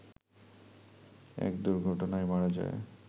এক দুর্ঘটনায় মারা যায়